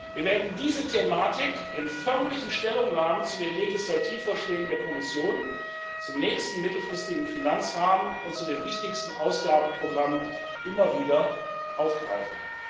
Wir werden diese Thematik in förmlichen Stellungnahmen zu den Legislativvorschlägen der Kommission zum nächsten mittelfristigen Finanzrahmen und zu den wichtigsten Ausgabenprogrammen immer wieder aufgreifen.